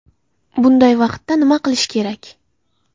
Bunday vaqtda nima qilish kerak?